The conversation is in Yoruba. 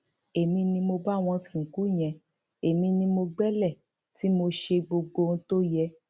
èmi ni mo bá wọn sìnkú yẹn èmi ni mo gbélé tí mo ṣe gbogbo ohun tó yẹ